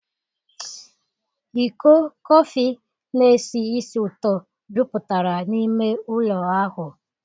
Iko kọfị na-esi ísì ụtọ jupụtara n'ime ụlọ ahụ.